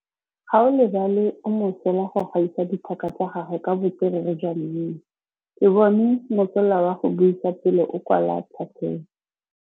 Gaolebalwe o mosola go gaisa dithaka tsa gagwe ka botswerere jwa mmino. Ke bone mosola wa go buisa pele o kwala tlhatlhobô.